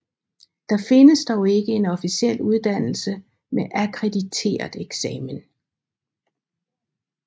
Der findes dog ikke en officiel uddannelse med akkrediteret eksamen